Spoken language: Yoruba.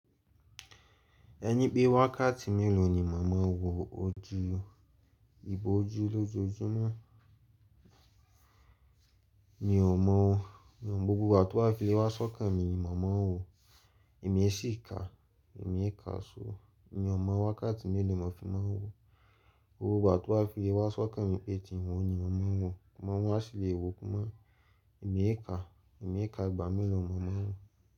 Ẹni pé wákàtí mélòó ni mo máa n wò ojú, ìbòjú lójoojúmọ́? Mi ò mọ̀ o. Ni gbogbo ìgbà tó bá fi le wá sọ́kàn mi ni mo máa ń wòọ Ẹ̀mi ẹ sí kàá ẹ̀mi ẹ kàá so mi ò mọ wákàtí mélòó tí mo fi máa wòó. Gbogbo ìgbà tó bá fi lé wá sọ́kàn mi pé ki n wòó ni mo máa ń wòó. Àmọ́ mọ̀ wá sì lè wò kínmó. Ẹ̀mi ẹ kàá, ẹ̀mi ẹ kàá ìgbà mélòó mo máa ń wò.